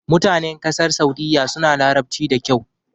Mutanen ƙasar Saudiyya suna Larabci da kyau.